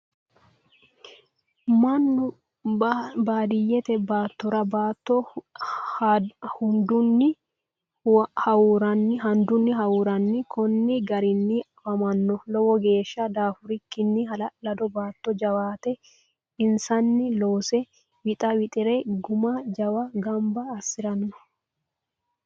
Mannu baadiyeette baattora baatto handunni hawuuranni konni garinni affammanno. lowo geeshsha daafurikkinni hala'lado baatto jawaatte insanni loose wixxa wixxire gumma jawa ganbba asiranno.